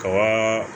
Kaban